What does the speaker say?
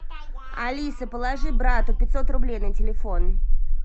алиса положи брату пятьсот рублей на телефон